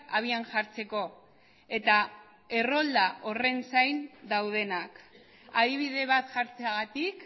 abian jartzeko eta errolda horren zain daudenak adibide bat jartzeagatik